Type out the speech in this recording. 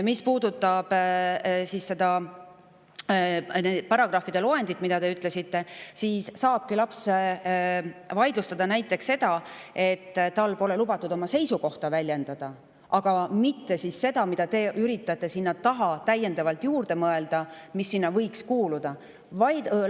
Mis puudutab loendit, millest te rääkisite, siis saabki laps vaidlustada näiteks seda, et tal pole lubatud oma seisukohta väljendada, aga mitte seda, mida te üritate sinna taha täiendavalt juurde mõelda ja mis võiks sinna alla kuuluda.